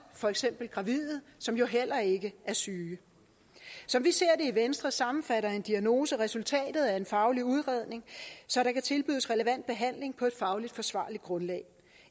for eksempel gravide som jo heller ikke er syge som vi ser i venstre sammenfatter en diagnose resultatet af en faglig udredning så der kan tilbydes relevant behandling på et fagligt forsvarligt grundlag